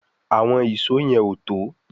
Àwọn Ìṣó yen o tó